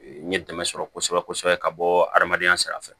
N ye dɛmɛ sɔrɔ kosɛbɛ kosɛbɛ ka bɔ hadamadenya sira fɛ